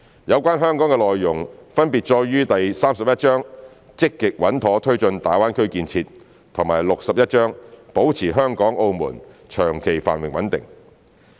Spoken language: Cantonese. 有關香港的內容分別載於第三十一章的"積極穩妥推進粵港澳大灣區建設"和第六十一章"保持香港、澳門長期繁榮穩定"。